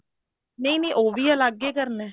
ਨਹੀਂ ਨਹੀਂ ਉਹ ਵੀ ਅਲੱਗ ਹੀ ਕਰਨਾ